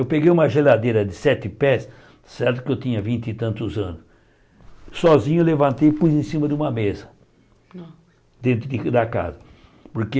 Eu peguei uma geladeira de sete pés, certo que eu tinha vinte e tantos anos, sozinho eu levantei e pus em cima de uma mesa, dentro de da casa, porque...